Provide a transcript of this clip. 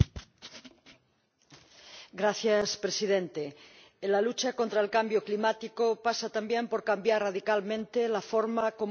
Señor Presidente, la lucha contra el cambio climático pasa también por cambiar radicalmente cómo nos alimentamos.